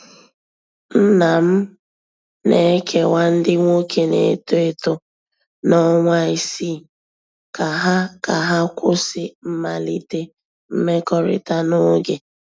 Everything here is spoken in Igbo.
Nna m na-ekewa ndị nwoke na-eto eto na ọnwa isii ka ha ka ha kwụsị mmalite mmekọrịta n'oge.